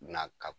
Na ka